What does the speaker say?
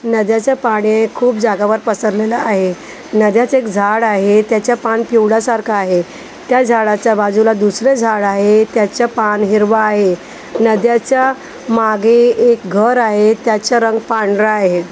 नद्याचं पाणी खूप जाग्यावर पसरलेलं आहे नद्याचं एक झाड आहे त्याचं पान पिवळासारखं आहे त्या झाडाच्या बाजूला दुसरं झाड आहे त्याचं पान हिरवं आहे नद्याच्या मागे एक घर आहे त्याच्या रंग पांढरा आहे.